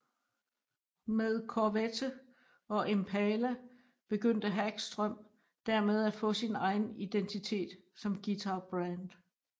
Med Corvette og Impala begynder Hagström dermed at få sin egen identitet som guitarbrand